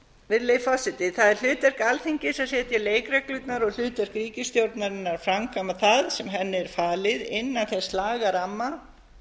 virðulegi forseti það er hlutverk alþingis að setja leikreglurnar og hlutverk ríkisstjórnarinnar að framkvæma það sem henni er falið innan þess lagaramma